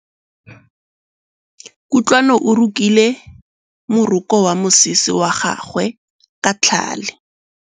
Kutlwanô o rokile morokô wa mosese wa gagwe ka tlhale.